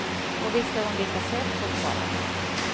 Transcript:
Och visst är hon lika söt fortfarande.